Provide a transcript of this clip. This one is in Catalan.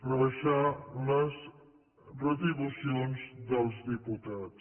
rebaixar les retribucions dels diputats